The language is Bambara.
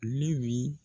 Ne bi